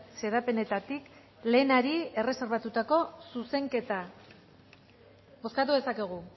xedapenetatik lehenari erreserbatutako zuzenketa bozkatu dezakegu